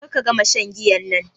Ƙar ka gama shan giyan nan.